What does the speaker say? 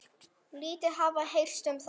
Lítið hafi heyrst um það.